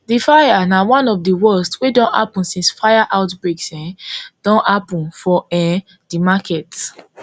di fire na one of di worst wey don happun since fire outbreaks um don dey happun for um di market